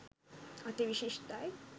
අති විශිෂ්ටයි